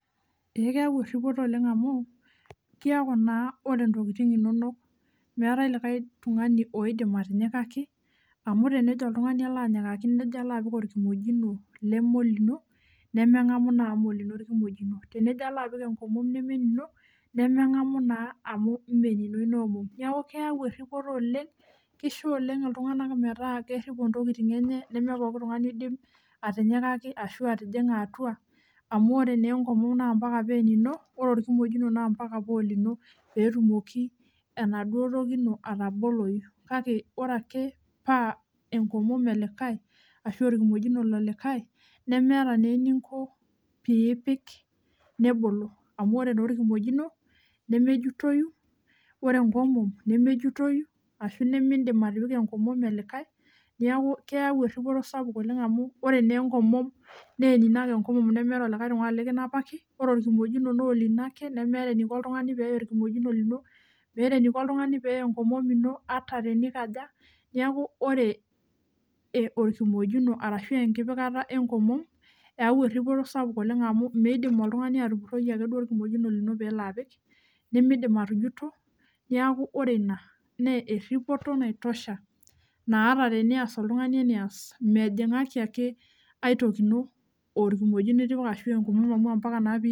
Ee keyau eripoto amu , kiaku naa ore ntokitin inonok meetae likae tungani oidim atinyikaki amu tenejo oltungani alo anyikaki nejo ala apik orkimojino nemeolino nemengamu naa amu mme olino orkimojino, tenejo alapik enkomom nemeenino nemengamu naa amu mmee enino inaomom niaku keyau eripoto oleng, kisho oleng metaa keripo ntokitin enye nemepoki tungani oidim ashua atijinga atua amu ore nee enkomom naa ampaka paa enino , ore orkimojino naa mpaka paa olino peetumoki enaduo toki ino atabolou kake ore ake paa enkomom elikae amu orkimojino lelikae nemeeta naa eninko piipik nebolo amu ore naa orkimojino nemejutoyu, ore enkomom nemejutoyu ashu nemindim atipika enkomom elikae niaku keyau eripoto sapuk oleng amu ore nee enkomom nee enino ake enkomom nemeeta likae tungani likanapaki , ore orkimojino naa olino ake nemeeta eniko oltungani peya oltungani orkimojino lino meeta eniko oltungani peya enkomom ino , niaku ore orkimojino arashu enkipikata enkomom eyau eripoto sapuk amu midim oltungani atupuroi orkimojino lino pelo apik , nemeidim atujuto , niaku ore ina naa eripoto naitosha naa ata tenias oltungani enias , mejingaki ake ae toki ino, orkimojino itipika, ashu enkomom amu ampaka naa.